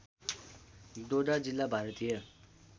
डोडा जिल्ला भारतीय